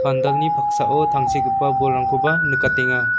pandalni paksao tangsekgipa bolrangkoba nikatenga.